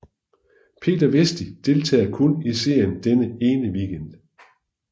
Peter Vesti deltager kun i serien denne ene weekend